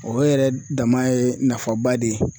O yɛrɛ dama ye nafaba de ye